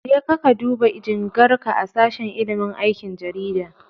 Jeka ka duba jingarka a sashen ilimin aikin jarida.